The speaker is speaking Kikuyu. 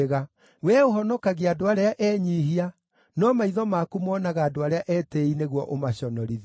Wee ũhonokagia andũ arĩa enyiihia, no maitho maku monaga andũ arĩa etĩĩi nĩguo ũmaconorithie.